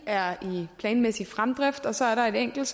er i planmæssig fremdrift og så er der et enkelt